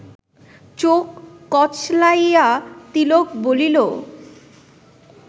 চোখ কচলাইয়া তিলক বলিল